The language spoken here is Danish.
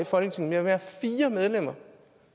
folketinget